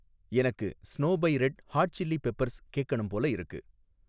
எனக்கு Snow by Red Hot Chili Peppers கேக்கணும் போல இருக்கு